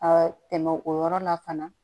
A tɛmɛ o yɔrɔ la fana